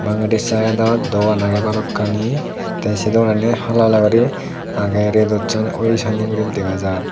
bangedi side ot dogan aage balokkani te se dogan ani hala hala guri aage redot oyi sanni guri dega jar.